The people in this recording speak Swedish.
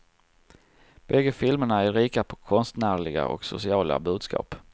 Bägge filmerna är rika på konstnärliga och sociala budskap.